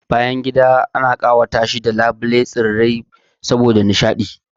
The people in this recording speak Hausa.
Bayangida wani lokaci ana ƙawatar da su ne da sanya labule, madubi, tsirrai saboda nishaɗi